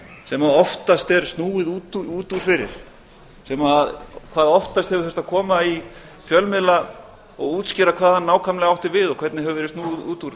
sem oftast er snúið út úr fyrir sem hvað oftast hefur þurft að koma í fjölmiðla og útskýra hvað hann nákvæmlega átti við og hvernig hefur verið snúið út úr